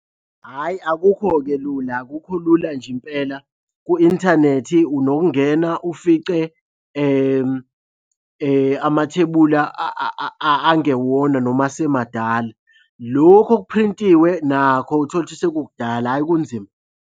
Hhayi akukho-ke lula, akukho lula nje impela. Ku-inthanethi unokungena ufice amathebula angewona noma asemadala. Lokhu okuphrintiwe nakho uthole ukuthi sekukudala, hhayi kunzima.